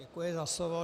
Děkuji za slovo.